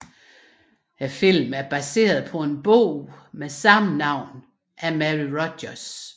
Filmen er baseret på en bog med samme navn af Mary Rodgers